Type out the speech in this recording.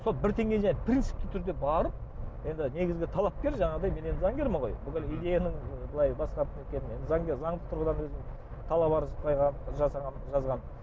сол бір теңге жарайды принципті түрде барып ендігі негізгі талапкер жаңағыдай мен енді заңгермін ғой бүкіл идеяның былай басқарып неткен енді енді заңды тұрғыдан өзім талап арыз қойғанмын жасағанмын жазғанмын